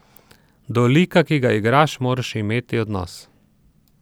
Do lika, ki ga igraš, moraš imeti odnos!